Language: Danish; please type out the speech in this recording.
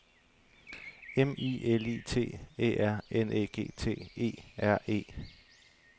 M I L I T Æ R N Æ G T E R E